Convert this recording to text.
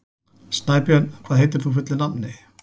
Snæbjörn, hvað heitir þú fullu nafni?